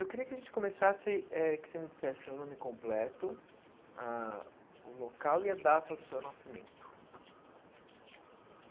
Eu queria que a gente começasse eh, que você me dissesse o seu nome completo, ãh o local e a data do seu nascimento.